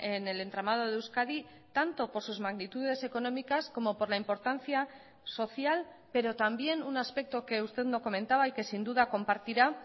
en el entramado de euskadi tanto por sus magnitudes económicas como por la importancia social pero también un aspecto que usted no comentaba y que sin duda compartirá